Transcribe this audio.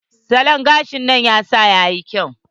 Salon gashin nan ya sa yayi kyau.